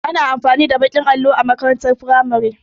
Ana amfani da baƙin allo a makarantar firamare